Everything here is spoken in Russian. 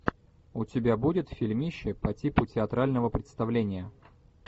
у тебя будет фильмище по типу театрального представления